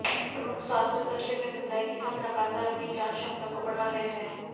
प्रमुख स्वास्थ्य सचिव ने बताया कि हम लगातार अपनी जांच क्षमता को बढ़ा रहे हैं